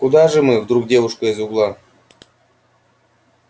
куда же мы вдруг девушка из угла